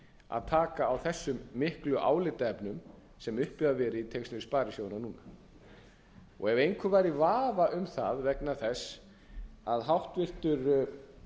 að taka á þessum miklu álitaefnum sem uppi hafa verið í tengslum við sparisjóðina núna ef einhver væri í vafa um það vegna þess að